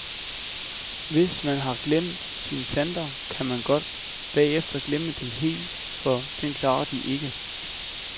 Hvis man har glemt sine planter, kan man godt bagefter glemme dem helt, for den klarer de ikke.